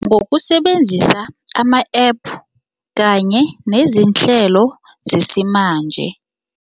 Ngokusebenzisa ama-App kanye nezinhlelo zesimanje.